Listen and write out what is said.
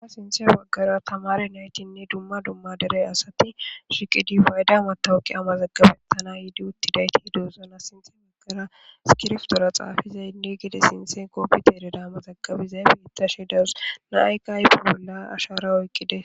a sinthe baggara tamare naytinne dumma dumma derey asati shiqidi ufayda matawuqi amazaggabettana yiidi uttidayti duozana sinte magara skirftora xaafizayinne gide sinthen koopbi tereda amazaggabizay biittashe dawus naykaybe bolla ashara oyqqide